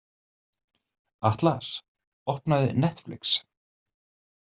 Atlas, opnaðu Netflix.